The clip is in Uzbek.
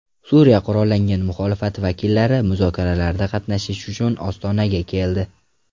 Suriya qurollangan muxolifati vakillari muzokaralarda qatnashish uchun Ostonaga keldi.